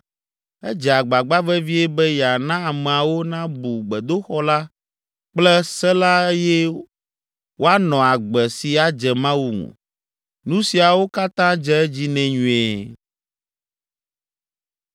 Edze agbagba vevie be yeana ameawo nabu gbedoxɔ la kple se la eye woanɔ agbe si adze Mawu ŋu. Nu siawo katã dze edzi nɛ nyuie.